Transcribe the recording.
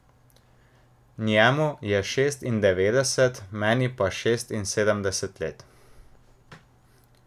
Njemu je šestindevetdeset, meni pa šestinsedemdeset let.